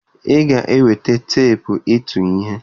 Ị ga-eweta teepụ ịtụ ihe!